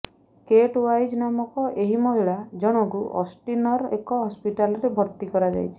କେଟ୍ Wise ନାମକ ଏହି ମହିଳା ଜଣଙ୍କୁ ଅଷ୍ଟିନର ଏକ ହସ୍ପିଟାଲରେ ଭର୍ତ୍ତି କରାଯାଇଛି